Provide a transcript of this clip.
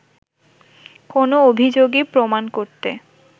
কোনো অভিযোগই প্রমাণ করতে